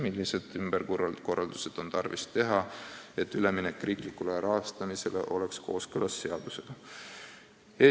Millised ümberkorraldused on tarvis teha ravikindlustussüsteemis, et üleminek riiklikule rahastamisele oleks kooskõlas seadustega?